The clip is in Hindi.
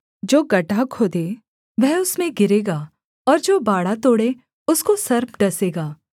जो गड्ढा खोदे वह उसमें गिरेगा और जो बाड़ा तोड़े उसको सर्प डसेगा